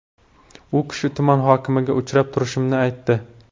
U kishi tuman hokimiga uchrab turishimni aytdi.